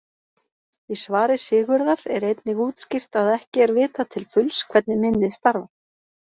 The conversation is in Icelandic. Í svari Sigurðar er einnig útskýrt að ekki er vitað til fulls hvernig minnið starfar.